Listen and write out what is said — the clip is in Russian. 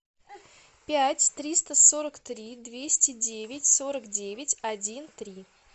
пять триста сорок три двести девять сорок девять один три